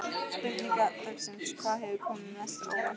Spurning dagsins: Hvað hefur komið mest á óvart?